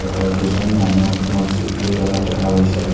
আৰু দুজন মানুহ মছজিদটোৰ তলত দেখা গৈছে।